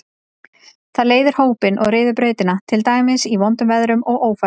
Það leiðir hópinn og ryður brautina, til dæmis í vondum veðrum og ófærð.